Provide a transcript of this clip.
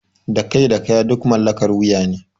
Da kai da kaya duk mallakar wuya ne.